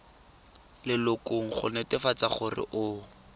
lelokong go netefatsa gore o